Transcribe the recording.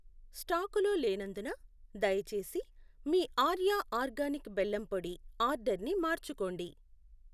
స్టాకులో లేనందున దయచేసి మీ ఆర్యా ఆర్గానిక్ బెల్లం పొడి ఆర్డర్ని మార్చుకోండి.